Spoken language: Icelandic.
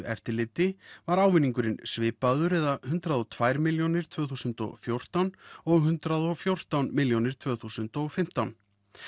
eftirliti var ávinningurinn svipaður eða hundrað og tvær milljónir tvö þúsund og fjórtán og hundrað og fjórtán milljónir tvö þúsund og fimmtán